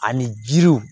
Ani jiriw